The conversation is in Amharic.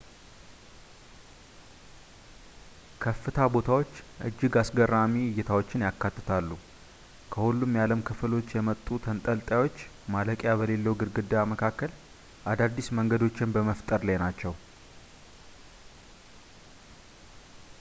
ከፍታ ቦታዎች እጅግ አስገራሚ እይታዎችን ያካትታሉ ከሁሉም የዓለም ክፍሎች የመጡ ተንጠላጣዮች ማለቂያ በሌለው ግድግዳ መካከል አዳዲስ መንገዶችን በመፍጠር ላይ ናቸው